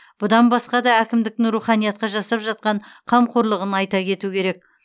бұдан басқа да әкімдіктің руханиятқа жасап жатқан қамқорлығын айта кету керек